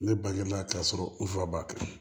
Ne balimanya ka sɔrɔ nfuba